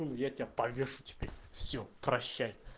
ну я тебя повешу теперь все прощай